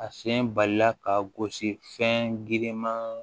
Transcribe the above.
A fiɲɛ balila ka gosi fɛn girinman